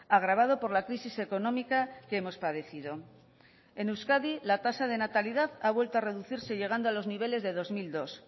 agravado por la crisis económica que hemos padecido en euskadi la tasa de natalidad ha vuelto a reducirse llegando a los niveles de dos mil dos